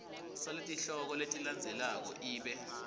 saletihloko letilandzelako ibe